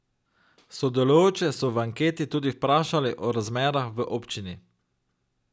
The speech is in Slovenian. Sodelujoče so v anketi tudi vprašali o razmerah v občini.